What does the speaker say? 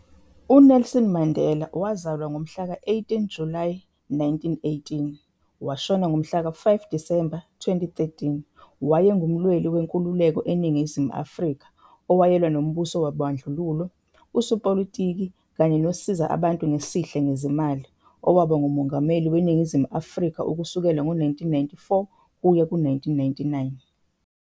uNelson Mandela wazalwa ngomhla ka 18 Julayi 1918, washona ngomhla ka 5 Disemba 2013 wayengumlweli wenkululeko eNingizimu Afrika, owayelwa nembuso wobandlululo, usopolitiki, kanye nosiza abantu ngesihle ngezimali, owaba nguMongameli weNingizimu Afrika ukusukela ngo 1994 ukuya ku 1999.